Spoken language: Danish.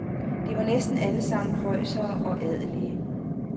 De var næsten alle sammen prøjsere og adelige.